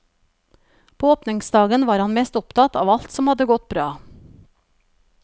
På åpningsdagen var han mest opptatt av alt som hadde gått bra.